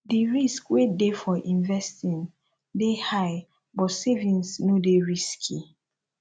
di risk wey de for investing de high but savings no de risky